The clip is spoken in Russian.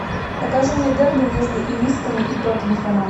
покажи мне дерби между ирисками и тоттенхэмом